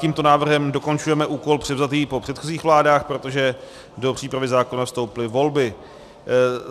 Tímto návrhem dokončujeme úkol převzatý po předchozích vládách, protože do přípravy zákona vstoupily volby.